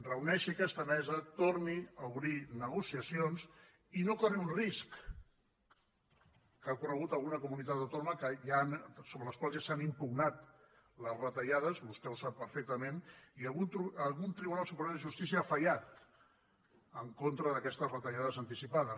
reuneixi aquesta mesa torni a obrir negociacions i no corri el risc que ha corregut alguna comunitat autònoma sobre les quals ja s’han impugnat les retallades vostè ho sap perfectament i algun tribunal superior de justícia ha fallat en contra d’aquestes retallades anticipades